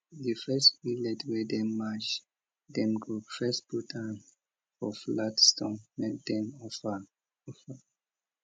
di first millet wey dem mash dem go first put am for flat stone make dem offer am